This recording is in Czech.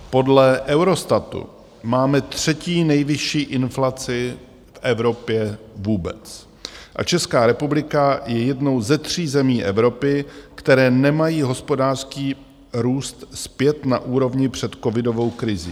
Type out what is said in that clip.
Podle Eurostatu máme třetí nejvyšší inflaci v Evropě vůbec a Česká republika je jednou ze tří zemí Evropy, které nemají hospodářský růst zpět na úrovni před covidovou krizí.